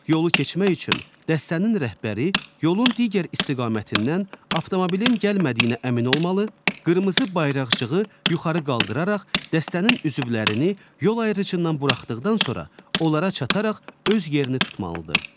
Yolu keçmək üçün dəstənin rəhbəri yolun digər istiqamətindən avtomobilin gəlmədiyinə əmin olmalı, qırmızı bayraqcığı yuxarı qaldıraraq dəstənin üzvlərini yol ayrıcıdan buraxdıqdan sonra onlara çataraq öz yerini tutmalıdır.